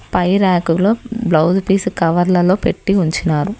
పై ర్యాకులో blouse piece కవర్లలో పెట్టి ఉంచినారు.